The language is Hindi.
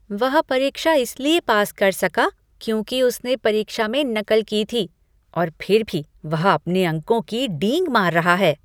वह परीक्षा इसलिए पास कर सका क्योंकि उसने परीक्षा में नकल की थी और फिर भी वह अपने अंकों की डींग मार रहा है।